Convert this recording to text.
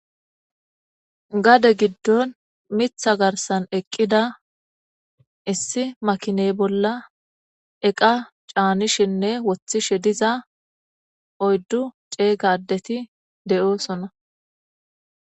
Gade giddon miththa garssan eqqida issi makinne bolla eqqa cannishenne woththishe dizza oyiddu cegga addeti de'ossona.